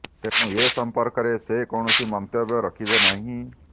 ତେଣୁ ଏ ସମ୍ପର୍କରେ ସେ କୌଣସି ମନ୍ତବ୍ୟ ରଖିବେ ନାହିଁ